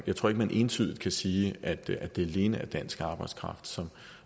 jeg tror ikke man entydigt kan sige at det alene er dansk arbejdskraft som